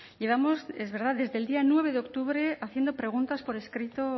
llevamos es verdad desde el día nueve de octubre haciendo preguntas por escrito